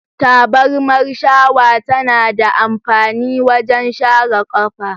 Tabarma shawa tana da amfani wajen share kafa.